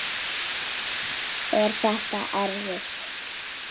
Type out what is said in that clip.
Er þetta erfitt?